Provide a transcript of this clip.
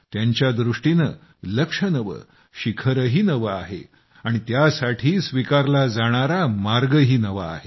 त्यांच्यादृष्टीनं लक्ष्य नवं शिखरही नवं आहे आणि त्यासाठी स्वीकारला जाणारा मार्गही नवा आहे